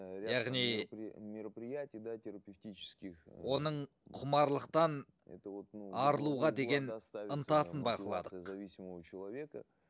яғни мероприятии да терапевтических оның құмарлықтан арылуға деген ынтасын бақыладық зависимого человека